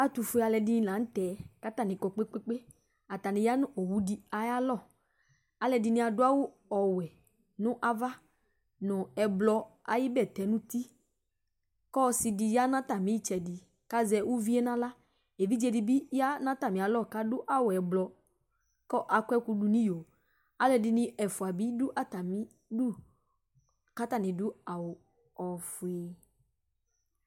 Aatʋfue aaluɛɖini la nʋ tɛ K'atani kɔ kpekpekpe, aatani yea nʋ owuɖi ayalɔAalʋɛɖini aɖʋ awʋ owuɛ n'ava nʋ ɛblɔ ayi nɛfɛ, k'ɔsiɖi yea n'atami tsɛɖi, k'azɛ ʋvie n'aɣlaEvidzeɖibi yea n'atamialɔ k'aɖʋ awu ɛblɔ kʋ akuɛku ɖʋ n'iyoAalʋɛɖini ɛfua bi ɖʋ atamiɖʋ k'atani aɖʋ awu ofue